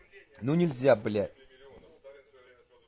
ну нельзя блять